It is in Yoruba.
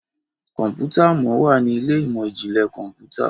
Kọ̀ǹpútà món wá ní Ilé ìmọ̀n-jinlẹ Kọ̀ǹpútà